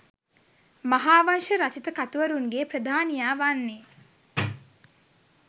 මහාවංශ රචිත කතුවරුන්ගේ ප්‍රධානියා වන්නේ